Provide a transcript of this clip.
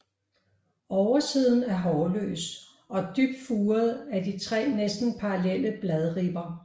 Oversiden er hårløs og dybt furet af de tre næsten parallelle bladribber